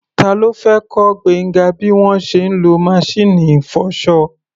Ta ló fẹ́ kọ́ Gbénga bí wọ́n ṣe ń lo maṣíìnì ìfọṣọ?